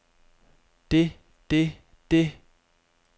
det det det